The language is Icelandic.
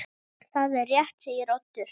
Það er rétt segir Oddur.